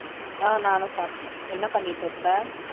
அஹ் நானும் சாப்பிட்டேன் என்ன பண்ணிட்டு இருக்க